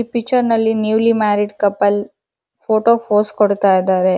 E picture ನಲ್ಲಿ newly married couple ಫೋಟೋಗ್ pose ಕೊಡ್ತಾ ಇದಾವೇ